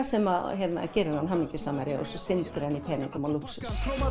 sem gerir hann hamingjusamari og hann syndir í peningum og lúxus